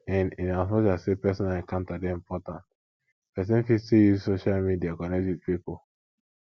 in in as much as sey personal encounter dey important person fit still use social media connect with pipo